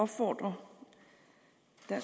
for en